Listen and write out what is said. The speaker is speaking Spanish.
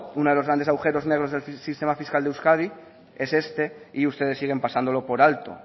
uno de los grandes agujeros negros del sistema fiscal de euskadi es este y ustedes siguen pasándolo por alto